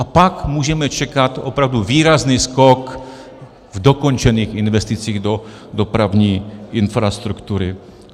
A pak můžeme čekat opravdu výrazný skok v dokončených investicích do dopravní infrastruktury.